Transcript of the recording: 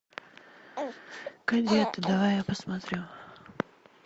кадеты давай я посмотрю